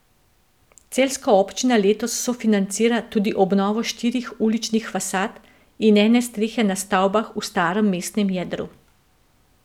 Celjska občina letos sofinancira tudi obnovo štirih uličnih fasad in ene strehe na stavbah v starem mestnem jedru.